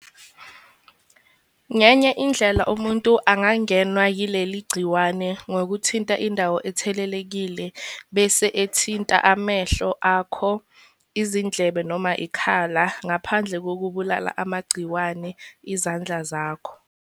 Ngenye indlela umuntu angangenwa yileli gciwane ngokuthinta indawo ethelelekile bese ethinta amehlo akho, izindlebe noma ikhala ngaphandle kokubulala amagciwane izandla zakho.